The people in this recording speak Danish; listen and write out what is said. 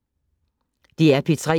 DR P3